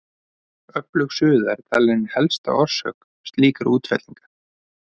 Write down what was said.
Öflug suða er talin ein helsta orsök slíkra útfellinga.